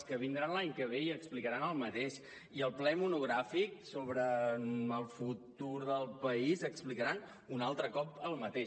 que vindran l’any que ve i explicaran el mateix i al ple monogràfic sobre el futur del país explicaran un altre cop el mateix